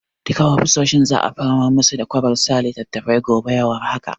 Duka ofisoshin za'a samar musu da kwabar saka littattafai gobe ya war haka.